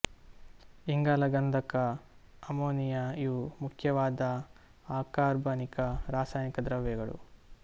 ಇಂಗಾಲ ಗಂಧಕ ಅಮೊನಿಯ ಇವು ಮುಖ್ಯವಾದ ಅಕಾರ್ಬನಿಕ ರಾಸಾಯನಿಕ ದ್ರವ್ಯಗಳು